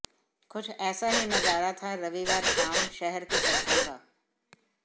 कुछ ऐसा ही नजारा था रविवार शाम शहर की सड़कों का